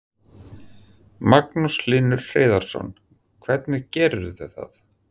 Magnús Hlynur Hreiðarsson: Hvernig gerirðu það?